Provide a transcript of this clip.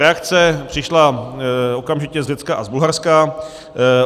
Reakce přišla okamžitě z Řecka a z Bulharska.